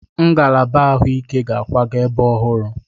Ngalaba ahụike ga-akwaga ebe ọhụrụ.